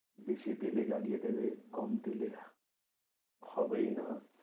বেশি দিলে জ্বালিয়ে দেবে কম দিলে হবেই না